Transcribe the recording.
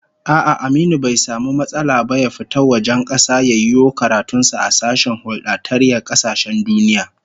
A'a, Aminu bai samu matsala ba ya fita wajen kasa ya yiwo karatun sa a sashen huldatayyar kasashen duniya